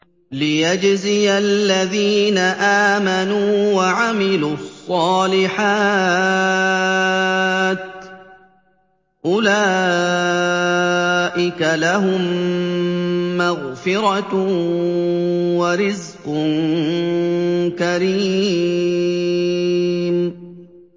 لِّيَجْزِيَ الَّذِينَ آمَنُوا وَعَمِلُوا الصَّالِحَاتِ ۚ أُولَٰئِكَ لَهُم مَّغْفِرَةٌ وَرِزْقٌ كَرِيمٌ